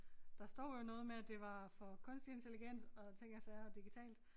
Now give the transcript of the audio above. Der står jo noget med at det var for kunstig intelligens og ting og sager digitalt